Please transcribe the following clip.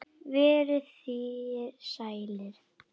Verið þér sælir.